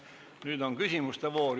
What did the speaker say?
Nüüd on küsimuste voor.